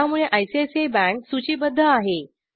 त्यामुळे ICICI bank सूचीबद्ध आहे